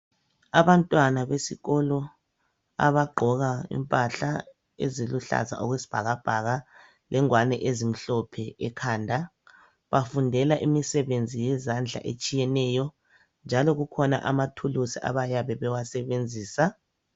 Abantwana besikolo abagqoka impahla eziluhlaza okwesibhakabhaka lengwane ezimhlophe ekhanda , bafundela imisebenzi yezandla etshiyeneyo njalo kukhona amathuluzi abayabe bewasebenzisa.